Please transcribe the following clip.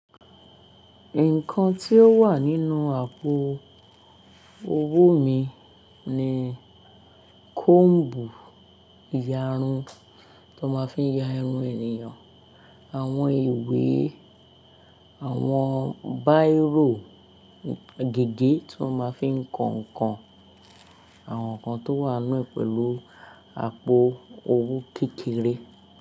Nǹkan tí ó wà nínú àpò owó mi ni kombu ìyarun tó máa fi ń ya irun ènìyàn, àwọn ìwé, àwọn báírò, gègé tó máa fi ń kan ǹkan, àwọn ǹkan tó wà nù pẹ̀lú àpò owó kékeré.